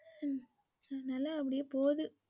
ஹம் அதுனால அப்படியே போகுது.